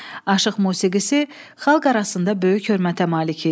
Aşıq musiqisi xalq arasında böyük hörmətə malik idi.